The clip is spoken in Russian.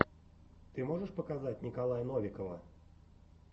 ты можешь показать николая новикова